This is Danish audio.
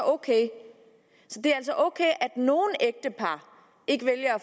ok at nogle ægtepar ikke vælger at